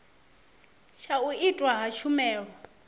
tsha u itwa ha tshumelo